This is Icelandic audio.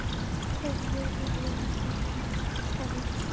Hvaða lið verður Englandsmeistari?